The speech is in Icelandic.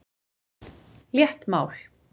Létt mál.